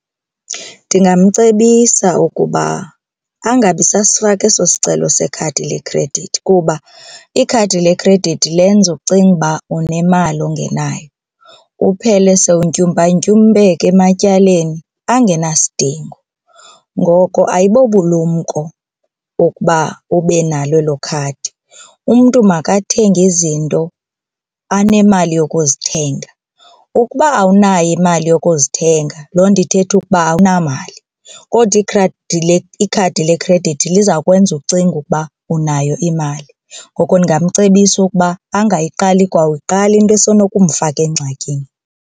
Ndingamcebisa ukuba angabi sasifaka eso sicelo sekhadi lekhredithi kuba ikhadi lekhredithi lenze ucinge uba unemali ungenayo uphele sowuntyumpantyumpeka ematyaleni angenasidingo. Ngoko ayibobulumko ukuba ubenalo elo khadi, umntu makathenge izinto anemali yokuzithenga. Ukuba awunayo imali yokuzithenga, loo nto ithetha ukuba awunamali kodwa ikhadi lekhredithi liza kwenza ucinge ukuba unayo imali. Ngoko ndingamcebisa ukuba angayiqali kwakuyiqala into esenokumfaka engxakini.